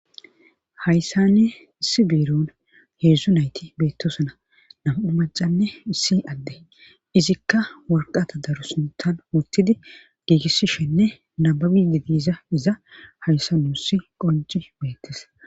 Hayssanne issi biiron heedzdzu nayti beettosana nam7u macanne issi adde izikka warqata daru sintan wurtidi giigissishenne nababidi diiza iza hayssa nuussi qonci beettes.